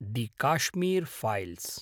the Kashmir files